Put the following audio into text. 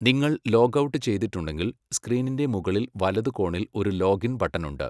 നിങ്ങൾ log out ചെയ്തിട്ടുണ്ടെങ്കിൽ സ്ക്രീനിന്റെ മുകളിൽ വലത് കോണിൽ ഒരു ലോഗിൻ ബട്ടൺ ഉണ്ട്.